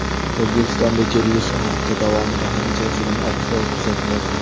O‘zbekistonda kelgusi hafta davomida ham jazirama ob-havo kuzatiladi.